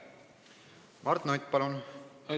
Mart Nutt, palun!